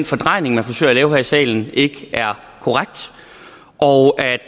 fordrejning man forsøger at lave her i salen ikke er korrekt og